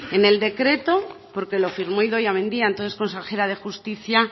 en el decreto porque lo firmó idoia mendia entonces consejera de justicia